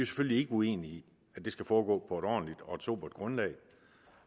selvfølgelig ikke uenige i at det skal foregå på et ordentligt og sobert grundlag